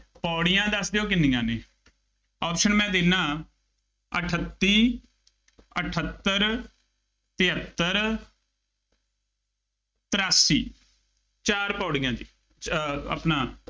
ਪੌੜੀਆਂ ਦੱਸ ਦਿਉ ਕਿੰਨੀਆਂ ਨੇ, option ਮੈ ਦਿੰਦਾ, ਅਠੱਤੀ, ਅਠੱਤਰ, ਤਹੇਤਰ ਤਰਾਸੀ, ਚਾਰ ਪੌੜੀਆਂ ਜੀ, ਅਹ ਆਪਣਾ